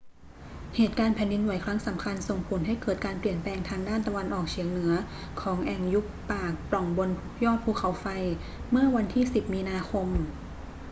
เหตุการณ์แผ่นดินไหวครั้งสำคัญส่งผลให้เกิดการเปลี่ยนแปลงทางด้านตะวันออกเฉียงเหนือของแอ่งยุบปากปล่องบนยอดภูเขาไฟเมื่อวันที่ 10 มีนาคม